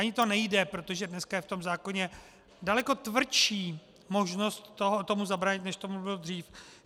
Ani to nejde, protože dneska je v tom zákoně daleko tvrdší možnost tomu zabránit, než tomu bylo dřív.